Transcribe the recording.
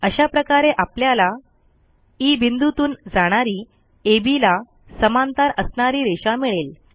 असा प्रकारे आपल्याला ई बिंदूतून जाणारी अब ला समांतर असणारी रेषा मिळेल